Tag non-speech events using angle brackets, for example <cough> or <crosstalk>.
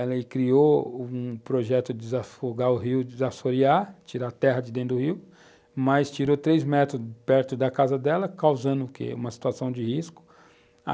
Ela criou um projeto de desafogar o rio, de, <unintelligible> tirar a terra de dentro do rio, mas tirou 3 metros perto da casa dela, causando o que, uma situação de risco.